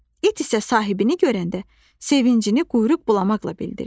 İt isə sahibini görəndə sevincini quyruq bulamaqla bildirir.